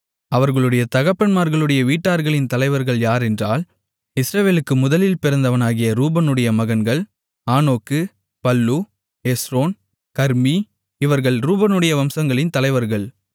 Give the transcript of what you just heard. அவர்களுடைய தகப்பன்மார்களுடைய வீட்டார்களின் தலைவர்கள் யாரென்றால் இஸ்ரவேலுக்கு முதலில் பிறந்தவனாகிய ரூபனுடைய மகன்கள் ஆனோக்கு பல்லூ எஸ்ரோன் கர்மீ இவர்கள் ரூபனுடைய வம்சங்களின் தலைவர்கள்